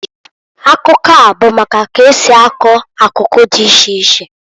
Akụkọa bụ maka ka esi akọ akụkụ dị iche iche.